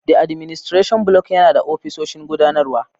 The Administration Block yana da ofisoshin gudanarwa.